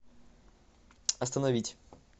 остановить